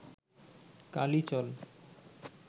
কালই চল